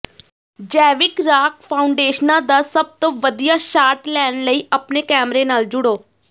ਜੈਵਿਕ ਰਾਕ ਫਾਊਂਡੇਸ਼ਨਾਂ ਦਾ ਸਭ ਤੋਂ ਵਧੀਆ ਸ਼ਾਟ ਲੈਣ ਲਈ ਆਪਣੇ ਕੈਮਰੇ ਨਾਲ ਜੁੜੋ